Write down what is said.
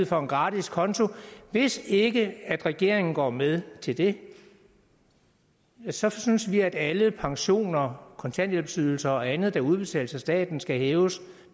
for en gratis konto hvis ikke regeringen går med til det så synes vi at alle pensioner kontanthjælpsydelser og andet der udbetales af staten skal hæves